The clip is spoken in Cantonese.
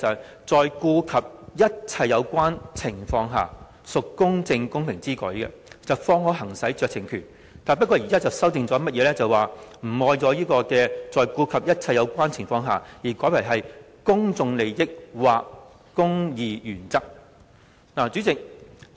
就是"在顧及一切有關情況下，屬公正公平之舉，方可行使該酌情權"，但現在如何修正？就是刪除"一切有關情況下"而代以"公眾利益或公義原則之後"。